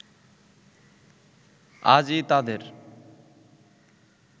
আজই তাদের